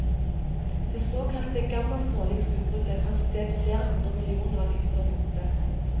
Det såkalte gammastrålingsutbruddet fant sted flere hundre millioner lysår borte.